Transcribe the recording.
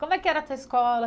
Como é que era a sua escola?